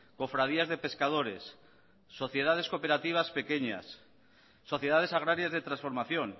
cofradías de pescadores sociedades cooperativas pequeñas sociedades agrarias de transformación